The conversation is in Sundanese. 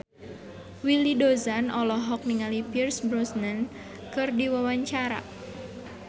Willy Dozan olohok ningali Pierce Brosnan keur diwawancara